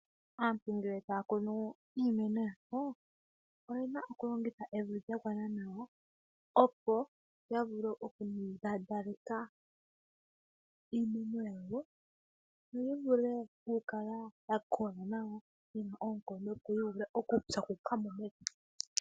Aantu ngele taya kunu iimeno yawo , oyena okulongitha evi lya gwana nawa ,opo yavule okumbambaleka iimeno yawo, yo yivule okukala yakola nawa , yina oonkondo, opo yivule okupyakuka mo mepya.